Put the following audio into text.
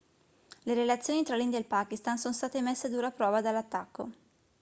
le relazioni tra l'india e il pakistan sono state messe a dura prova dall'attacco